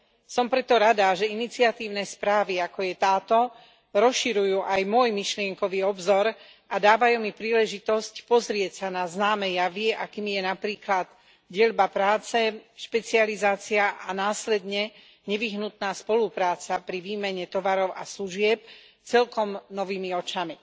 Som preto rada, že iniciatívne správy, ako je táto, rozširujú aj môj myšlienkový obzor a dávajú mi príležitosť pozrieť sa na známe javy, akými je napríklad deľba práce, špecializácia a následne nevyhnutná spolupráca pri výmene tovarov a služieb, celkom novými očami.